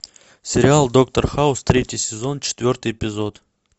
сериал доктор хаус третий сезон четвертый эпизод